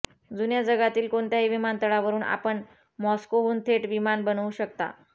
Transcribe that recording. जुन्या जगातील कोणत्याही विमानतळावरून आपण मॉस्कोहून थेट विमान बनवू शकता